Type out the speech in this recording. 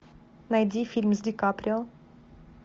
найди фильм с ди каприо